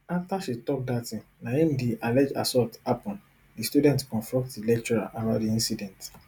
afta she tok dat tin na im di allege assault happun di student confront di lecturer about di incident